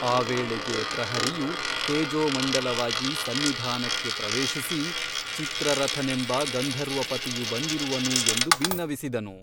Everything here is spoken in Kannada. ಆ ವೇಳೆಗೆ ಪ್ರಹರಿಯು ತೇಜೋಮಂಡಲವಾಗಿ ಸನ್ನಿಧಾನಕ್ಕೆ ಪ್ರವೇಶಿಸಿ ಚಿತ್ರರಥನೆಂಬ ಗಂಧರ್ವಪತಿಯು ಬಂದಿರುವನು ಎಂದು ಬಿನ್ನವಿಸಿದನು.